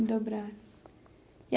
E dobrar.